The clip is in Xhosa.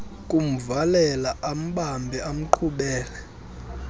kumvalela ambambe amqhubele